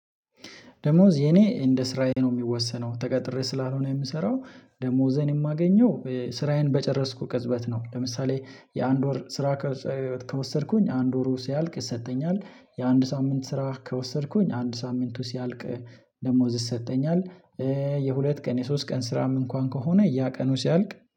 ደሞዝ የኔ እንደ ስራዬ ነው የሚወሰነው ተቀጥሬ ስላልሆነ የምሰራው ደሞዜን የማገኘው ስራዬን በጨረስኩ ቅጽበት ነው። ለምሳሌ የአንድ ወር ስራ ከወሰድኩኝ አንድ ወሩ ሲያልቅ ይሰጠኛል። የአንድ ሳምንት ስራ ከወሰድኩኝ አንድ ሳምንቱ ሲያልቅ ደሞዝ ይሰጠኛል። የሁለት ቀን የሶስት ቀን ስራም እንኳን ከሆነ ያ ቀኑ ሲያልቅ